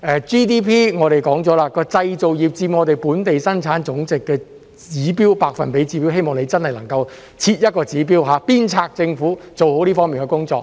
GDP 方面，我們說了，製造業佔我們本地生產總值的百分比指標，希望你能設一個指標，鞭策政府做好這方面的工作。